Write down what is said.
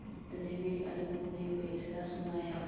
इतने में अलगू ने फैसला सुनाया